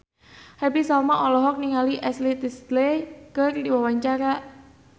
Happy Salma olohok ningali Ashley Tisdale keur diwawancara